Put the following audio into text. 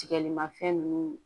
Tigɛlimafɛn nunnu